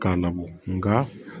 K'a labɔ nka